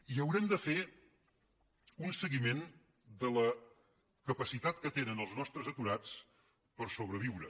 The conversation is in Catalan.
i haurem de fer un seguiment de la capacitat que tenen els nostres aturats per sobreviure